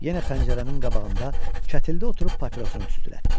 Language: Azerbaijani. Yenə pəncərənin qabağında kətildə oturub papirosunu tüstürətdi.